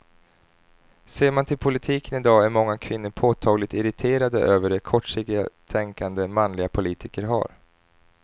Ser man till politiken i dag är många kvinnor påtagligt irriterade över det kortsiktiga tänkande manliga politiker har.